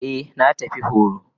Eh na tafi horo.